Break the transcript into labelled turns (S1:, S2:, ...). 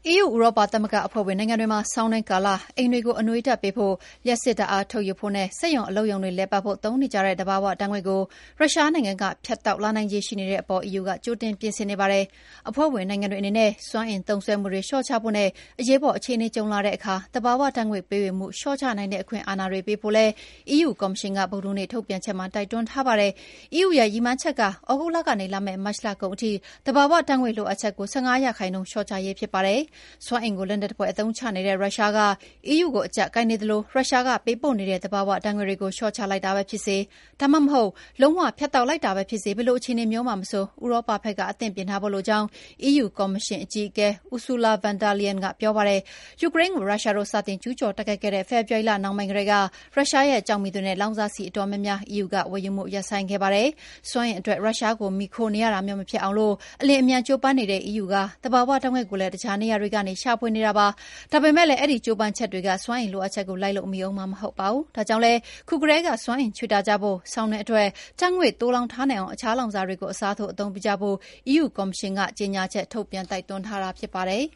S1: EU ဥရောပသမဂ္ဂအဖွဲ့ဝင်နိုင်ငံတွေမှာ ဆောင်းတွင်းကာလ အိမ်တွေကို အနွေးဓာတ်ပေးဖို့၊ လ ျှပ်စစ်ဓာတ်အားထုတ်ယူဖို့နဲ့ စက်ရုံအလုပ်ရုံတွေလည်ပတ်ဖို့သုံးနေကြတဲ့ သဘာဝဓာတ်ငွေ့ကို ရုရှားနိုင်ငံက ဖြတ်တောက်လာနိုင်ခြေရှိနေတဲ့အပေါ် EU ကကြိုတင်ပြင်ဆင်နေပါတယ်။ အဖွဲ့ဝင်နိုင်ငံတွေအနေနဲ့ စွမ်းအင်သုံးစွဲမှုတွေ လေ ျှာ့ချကြဖို့နဲ့ အရေးပေါ်အခြေအနေကြုံလာတဲ့အခါ သဘာဝဓာတ်ငွေ့ ပေးဝေမှုလျော့ချနိုင်တဲ့ အခွင့်အာဏာတွေပေးဖို့လည်း EU ကော်မရှင်ကဗုဒ္ဓဟူးနေ့ထုတ်ပြန်ချက်မှာ တိုက်တွန်းထားပါတယ်။ EU ရဲ့ ရည်မှန်းချက်က သြဂုတ်လကနေ လာမယ့် မတ်လကုန်ထိ သဘာဝဓာတ်ငွေ့လိုအပ်ချက်တွေကို ၁၅% လျော့ချရေးဖြစ်ပါတယ်။ စွမ်းအင်ကို လက်နက်သဖွယ် အသုံးချနေတဲ့ ရုရှားက အီးယူကို အကျပ်ကိုင်နေသလို ရုရှားက ပေးပို့နေတဲ့ သဘာဝဓာတ်ငွေ့တွေကို လျော့ချလိုက်တာပဲဖြစ်စေ ဒါမှမဟုတ် လုံး၀ ဖြတ်တောက်လိုက်တာပဲဖြစ်စေ ဘယ်လိုအခြေအနေမျိုးမှာမဆို ဥရောပဖက်က အဆင်သင့်ပြင်ထားဖို့လိုကြောင်း အီးယူကကော်မရှင် အကြီးအကဲ Ursula von der Leyen ကပြောပါတယ်။ ယူကရိန်းကို ရုရှားတို့ စတင်ကျူးကျော်တိုက်ခိုက်ခဲ့တဲ့ ဖေဖော်ဝါရီလနှောင်းပိုင်းကတည်းက ရုရှားရဲ့ ကျောက်မီးသွေးနဲ့ လောင်စာဆီအတော်များများ အီးယူ ကဝယ်ယူမှုရပ်ဆိုင်းခဲ့ပါတယ်။ စွမ်းအင်အတွက်ရုရှားကို မှီခိုနေရတာမျိုးမဖြစ်အောင် အလျင်အမြန် ကျိုးစားနေတဲ့ အီးယူက သဘာဝဓာတ်ငွေ့ကိုလည်း တခြားနေရာတွေက ရှာဖွေနေတာပါ။ ဒါပေမယ့်လည်း အဲဒီကျိုးစားချက်တွေက စွမ်းအင်လိုအပ်ချက်ကို လိုက်လို့မှီမှာမဟုတ်ပါဘူး။ ဒါကြောင့်လည်း ခုကတည်း ကစွမ်းအင်ခြွေတာကြဖို့၊ ဆောင်းတွင်းအတွက် ဓာတ်ငွေ့တွေ သိုလှောင်ထားနိုင်အောင် အခြားလောင်စာတွေကို အစားထိုး အသုံးပြုကြဖို့ EU ကော်မရှင်က ကြေညာချက်ထုတ်ပြန် တိုက်တွန်းထားတာဖြစ်ပါတယ်